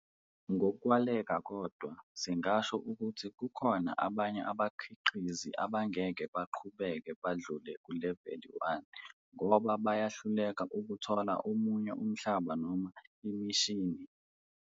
Ngokwaleka kodwa singasho ukuthi kukhona abanye abakhiqizi abangeke baqhubeke badlule kuleveli 1 ngoba bayahluleka ukuthola omunye umhlaba noma imishini.